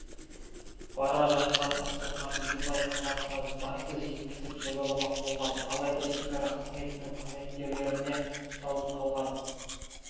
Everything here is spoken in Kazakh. бара жатқан ақсұңқарды дубай қаласына заңсыз жеткізіп саудаламақ болған алайда шекара қызметінің қызметкерлеріне ұсталып қалған